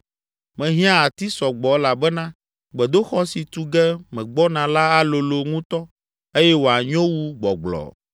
Mehiã ati sɔ gbɔ elabena gbedoxɔ si tu ge megbɔna la alolo ŋutɔ eye wòanyo wu gbɔgblɔ.